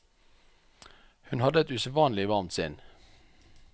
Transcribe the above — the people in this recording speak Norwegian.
Hun hadde et usedvanlig varmt sinn.